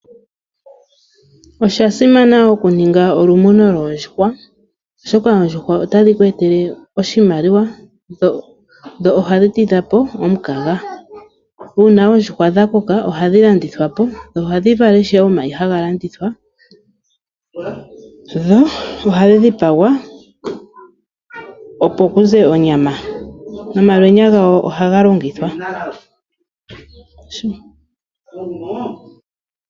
Osha simana okuninga olumuno lwoondjuhwa oshoka oondjuhwa otadhi ku etele oshimaliwa, dho ohadhi tidha po omukaga. Uuna oondjuhwa dha koka oha dhi landithwa po, dho ohadhi vala omayi ha ga landithwapo, dho ohadhi dhipagwa opo ku ze onyama, nomalwenya gadho ohaga longithwa.